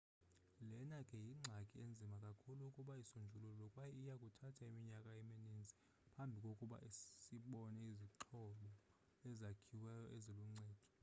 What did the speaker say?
lena ke yingxaki enzima kakhulu ukuba isonjululwe kwaye iyakuthatha iminyaka emininzi phambi kokuba sibone izixhobo ezakhiweyo eziluncedo